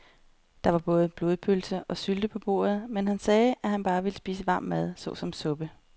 Der var både blodpølse og sylte på bordet, men han sagde, at han bare ville spise varm mad såsom suppe.